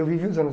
Eu vivi os anos